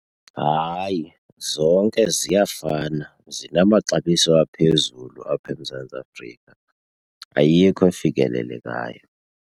Hayi, zonke ziyafana zinamaxabiso aphezulu apha eMzantsi Afrika, ayikho efikelelekayo.